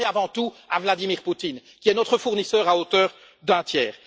D'abord et avant tout à Vladimir Poutine, qui est notre fournisseur à hauteur d'un tiers.